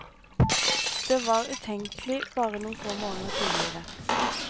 Det var utenkelig bare noen få måneder tidligere.